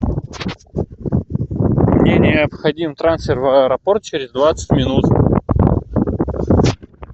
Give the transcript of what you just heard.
мне необходим трансфер в аэропорт через двадцать минут